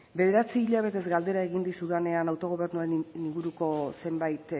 bederatzi hilabetez galdera egin dizudanean autogobernuaren inguruko zenbait